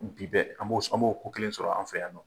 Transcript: Bi bɛɛ an b'o ko kelen sɔrɔ an fɛ yan nɔn.